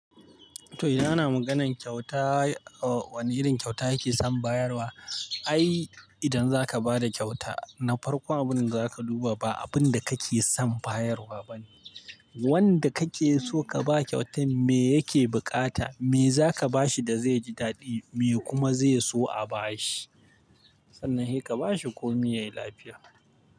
To, idan ana maganan kyauta, wane irin kyauta yake son bayarwa? Ai, idan zaka ba da kyauta, na farko abun da zaka duba ba abun da kake son bayarwa bane. Wanda kake so ka ba kyautar me yake bukata, me zaka ba shi da zai ji daɗi me kuma zai so a ba shi. Sannan he ka ba shi komi yayi lafiya.